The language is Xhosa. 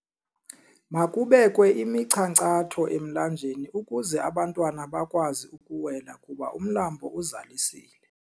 Makubekwe imichankcatho emlanjeni ukuze abantwana bakwazi ukuwela kuba umlambo uzalisile.